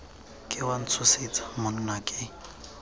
ke wa ntshosetsa monna ke